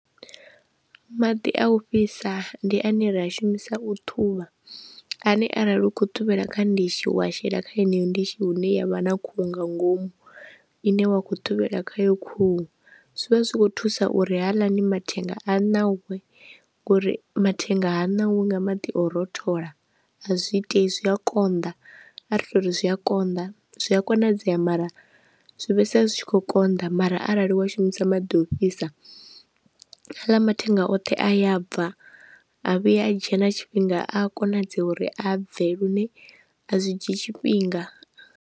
Maḓi a u fhisa ndi ane ra a shumisa u ṱhuvha ane arali u kho thivhela kha ndishi wa shela kha yeneyo ndishi hune ya vha na khuhu nga ngomu ine wa kho thivhela khayo khuhu, zwivha zwikho thusa uri haaḽani mathenga a ṋauwe ngori mathenga ha ṋauwi nga maḓi o rothola a zwi ite zwi a konḓa a ri to uri zwi a konḓa, zwi a konadzea mara zwi vhe fhedzisela zwi tshi kho konḓa mara arali wa shumisa maḓi ofhisa haaḽa mathenga oṱhe a ya bva a vhuye a dzhena tshifhinga a konadzea uri a bve lune a zwi dzhii tshifhinga.